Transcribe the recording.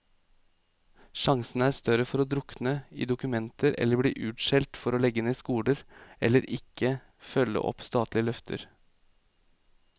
Sjansene er større for å drukne i dokumenter eller bli utskjelt for å legge ned skoler, eller ikke følge opp statlige løfter.